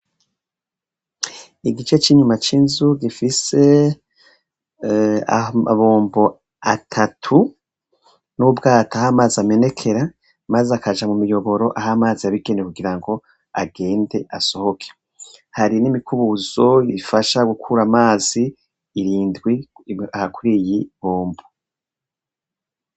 Igice c'inyuma c'inzu gifise amabombo atatu, n'ubwato aho amazi amenekera, maze akaja mumiyoboro aho amazi yabigenewe kugira ngo agende asohoke. Hari n'imikubuzo ifasha gukura amazi, irindwi aha kuriyi bombo.